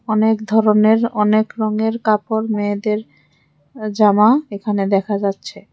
অনেক ধরনের অনেক রঙের কাপড় মেয়েদের জামা এখানে দেখা যাচ্ছে।